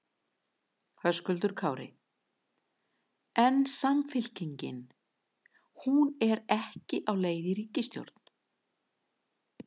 Höskuldur Kári: En Samfylkingin, hún er ekki á leið í ríkisstjórn?